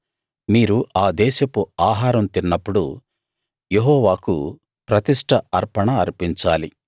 మీరు ఆ దేశపు ఆహారం తిన్నప్పుడు యెహోవాకు ప్రతిష్ట అర్పణ అర్పించాలి